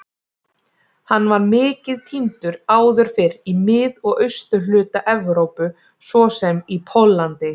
Hann var mikið tíndur áður fyrr í mið- og austurhluta Evrópu svo sem í Póllandi.